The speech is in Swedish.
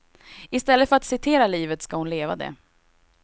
I stället för att citera livet ska hon leva det.